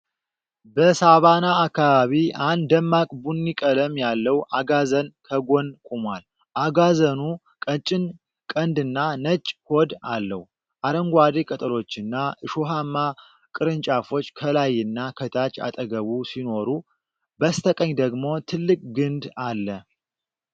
በሳቫና አካባቢ አንድ ደማቅ ቡኒ ቀለም ያለው አጋዘን ከጎን ቆሟል። አጋዘኑ ቀጭን ቀንድና ነጭ ሆድ አለው። አረንጓዴ ቅጠሎችና እሾሃማ ቅርንጫፎች ከላይና ከታች አጠገቡ ሲኖሩ፣ በስተቀኝ ደግሞ ትልቅ ግንድ አለ።